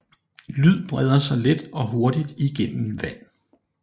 Lyd breder sig let og hurtigt igennem vand